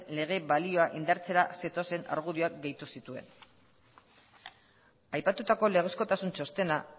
lege balioa indartzera zetozen argudioak gehitu zituen aipatutako legezkotasun txostena